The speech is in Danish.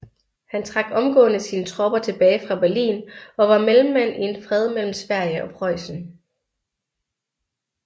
Han trak omgående sine tropper tilbage fra Berlin og var mellemmand i en fred mellem Sverige og Preussen